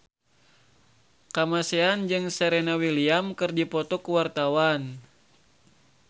Kamasean jeung Serena Williams keur dipoto ku wartawan